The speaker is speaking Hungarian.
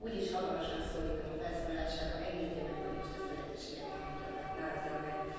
Úgyis hamarosan szólítom a felszólalásába, engedje meg, hogy most ezt a lehetőséget ne adjam meg!